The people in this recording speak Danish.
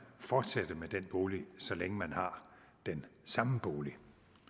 fortsætte med den bolig så længe man har den samme bolig